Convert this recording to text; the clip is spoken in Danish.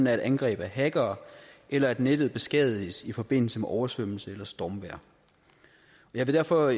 er et angreb af hackere eller nettet beskadiges i forbindelse med oversvømmelse eller stormvejr jeg vil derfor